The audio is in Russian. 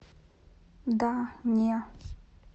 да не